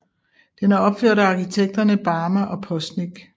Den er opført af arkitekterne Barma og Postnik